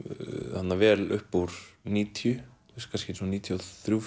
þarna vel upp úr níutíu kannski svona níutíu og þrjú